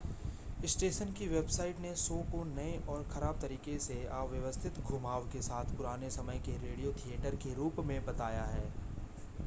station की website ने show को नए और ख़राब तरीके से अव्यवस्थित घुमाव के साथ पुराने समय के रेडियो थिएटर के रूप में बताया है